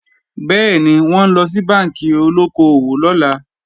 Bẹ́ẹ̀ni, wọ́n ńlọ sí bánkì olóko-òwò lọ́la